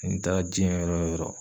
N taara diɲɛ yɔrɔ o yɔrɔ